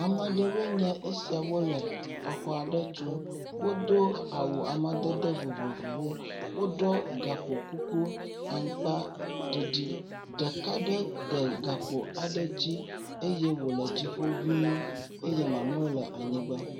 Ame aɖewoe nye esia wo le exɔ aɖe tum. Wodo amadede awu vovovowo. Woɖo gakpo kuku amagba ɖiɖi. Ɖeka aɖe de gakpo aɖe dzi eye wo dziƒo ŋu] eye mamlɛwo le anyigba.